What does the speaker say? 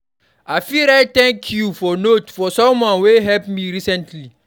I fit write thank you note for someone wey help me recently.